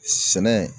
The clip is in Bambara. Sɛnɛ